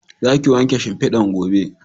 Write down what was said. Za ki wanke shimfidan gobe